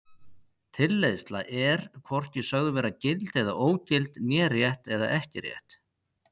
Tilleiðsla er er hvorki sögð vera gild eða ógild né rétt eða ekki rétt.